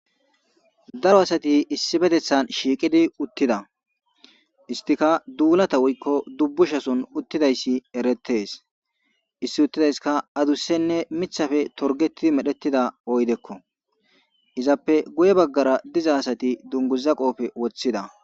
Daro asati issi betethan shiiqidi uttida istika duulata wuykko dubbushason uttidayssi erettees issi uttidayska adusenne mithafe torgetidi medhettida oydekko izappe guye baggara diza asati dunguza qoofe woththida.